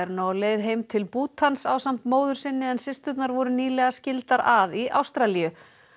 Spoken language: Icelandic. nú á leið heim til ásamt móður sinni en systurnar voru nýlega skildar að í Ástralíu